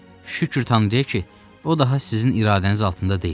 Şükür Tanrıya ki, o daha sizin iradəniz altında deyil.